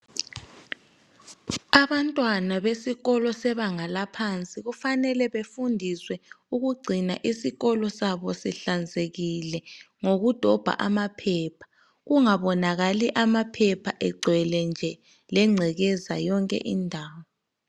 Abantwana besikolo sebanga laphansi kufanele befundiswe ukugcina isikolo sabo sihlanzekile ngokudobha amaphepha, kungabonakali amaphepha egcwele nje lengcekeza yonke indawo.